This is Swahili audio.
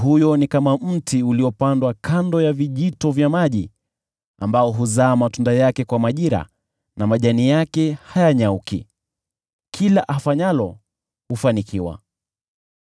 Mtu huyo ni kama mti uliopandwa kando ya vijito vya maji, ambao huzaa matunda kwa majira yake na majani yake hayanyauki. Lolote afanyalo hufanikiwa.